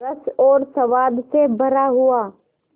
रस और स्वाद से भरा हुआ